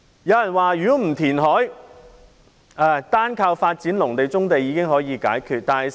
有人說如果不填海，單靠發展農地、棕地已經可以解決問題。